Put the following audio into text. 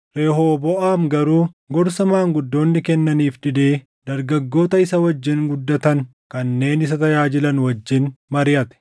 Rehooboʼaam garuu gorsa maanguddoonni kennaniif didee dargaggoota isa wajjin guddatan kanneen isa tajaajilan wajjin mariʼate.